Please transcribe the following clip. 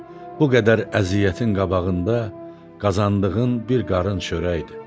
Bu qədər əziyyətin qabağında qazandığın bir qarış çörəkdir.